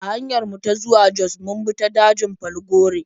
A hanyar mu ta zuwa Jos mun bi ta dajin Falgore.